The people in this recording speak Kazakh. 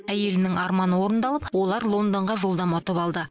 әйелінің арманы орындалып олар лондонға жолдама ұтып алды